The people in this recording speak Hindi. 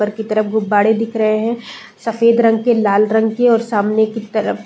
ऊपर की तरफ गुब्बारे दिख रहे हैं। सफ़ेद रंग के लाल रंग के और सामने की तरफ --